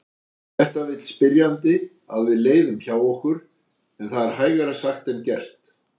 Þetta vill spyrjandi að við leiðum hjá okkur en það er hægara sagt en gert.